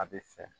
A bɛ fɛ